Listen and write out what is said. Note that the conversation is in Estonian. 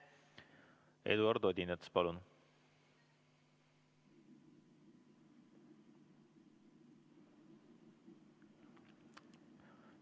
Eduard Odinets, palun!